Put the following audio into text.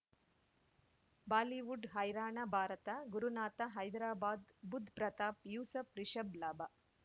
Bollywood ಹೈರಾಣ ಭಾರತ ಗುರುನಾಥ ಹೈದರಾಬಾದ್ ಬುಧ್ ಪ್ರತಾಪ್ ಯೂಸಫ್ ರಿಷಬ್ ಲಾಭ